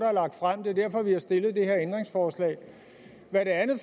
det er derfor at vi har stillet det her ændringsforslag hvad det andet